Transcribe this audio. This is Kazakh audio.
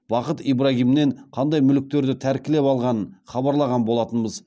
бақыт ибрагимнен қандай мүліктерді тәркілеп алғанын хабарлаған болатынбыз